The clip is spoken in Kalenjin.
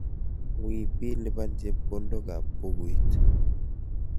Wiy bi lipan chepkondokab bukuit.